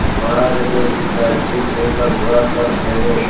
महाराज अपने राजकीय कुएं का विवाह कर रहे